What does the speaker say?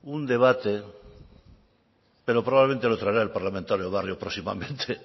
un debate pero probablemente lo traerá el parlamentario barrio próximamente